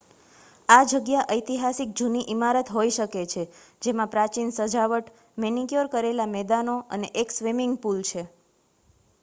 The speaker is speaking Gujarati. આ જગ્યા ઐતિહાસિક જૂની ઇમારત હોઈ શકે છે જેમાં પ્રાચીન સજાવટ મેનિક્યોર કરેલા મેદાનો અને એક સ્વિમિંગ પુલ છે